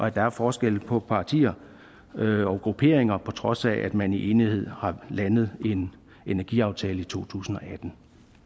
at der er forskelle på partier og grupperinger på trods af at man i enighed har landet en energiaftale i totusinde og attende